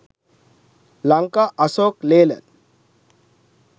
lanka asok laland